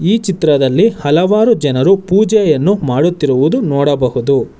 ಈ ಚಿತ್ರದಲ್ಲಿ ಹಲವಾರು ಜನರು ಪೂಜೆಯನ್ನು ಮಾಡುತ್ತಿರುವುದು ನೋಡಬಹುದು.